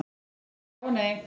Já og nei.